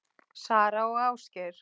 Sara og Ásgeir.